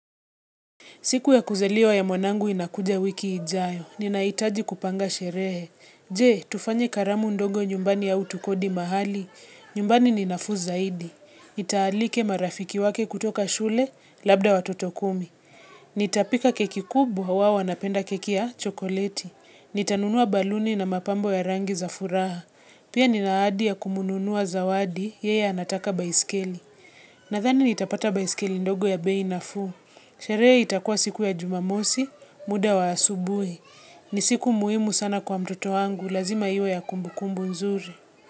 Siku ya kuzaliwa ya mwanangu inakuja wiki ijayo. Ninaitaji kupanga sherehe. Je, tufanye karamu ndogo nyumbani au tukodi mahali. Nyumbani ni nafuu zaidi. Nitaalika marafiki wake kutoka shule labda watoto kumi. Nitapika keki kubwa hawa wanapenda keki ya chokoleti. Nitanunua balooni na mapambo ya rangi za furaha. Pia nina ahadi ya kumnunua zawadi, yeye anataka baiskeli. Nathani nitapata baiskeli ndogo ya bei nafuu. Sherehe itakuwa siku ya jumamosi, muda wa asubuhi. Ni siku muhimu sana kwa mtoto wangu, lazima iwe ya kumbukumbu nzuri.